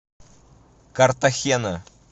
картахена